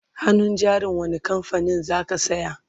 hannun jarin wani kamfanin zaka saya?